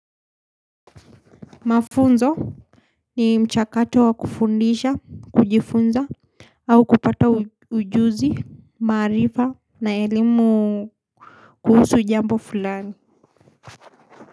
Mafunzo ni mchakato wa kufundisha kujifunza au kupata ujuzi maarifa na elimu kuhusu jambo fulani.